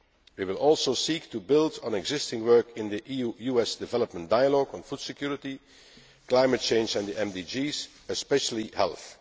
We will also seek to build on existing work in the EU US development dialogue on food security, climate change and the MDGs, especially health.